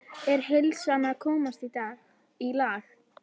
Er heilsan að komast í lag?